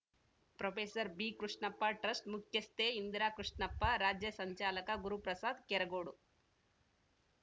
ಪ್ರೊಪೆಸರ್ಬಿಕೃಷ್ಣಪ್ಪ trust ಮುಖ್ಯಸ್ಥೆ ಇಂದಿರಾ ಕೃಷ್ಣಪ್ಪ ರಾಜ್ಯ ಸಂಚಾಲಕ ಗುರುಪ್ರಸಾದ್‌ ಕೆರಗೋಡು